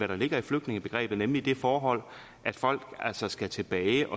der ligger i flygtningebegrebet nemlig det forhold at folk altså skal tilbage